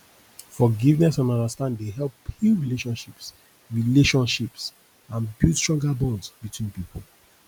forgiveness and understanding dey help heal relationships relationships and build stronger bonds between people